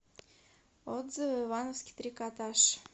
отзывы ивановский трикотаж